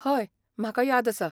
हय, म्हाका याद आसा.